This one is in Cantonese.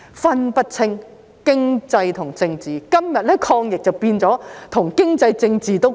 分不清經濟與政治，今天抗疫便變成跟經濟和政治都掛鈎。